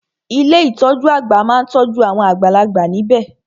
Ilé ìtọjú àgbà má n tọ́jú awon àgbàlagbà níbẹ̀.